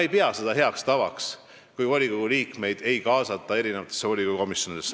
Ei, ma ei pea heaks tavaks seda, kui volikogu liikmeid ei kaasata volikogu komisjonidesse.